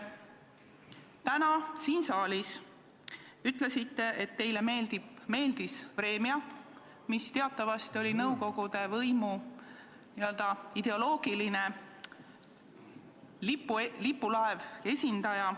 Täna siin saalis te ütlesite, et teile meeldis "Vremja", mis teatavasti oli nõukogude võimu ideoloogiline lipulaev, selle võimu esindaja.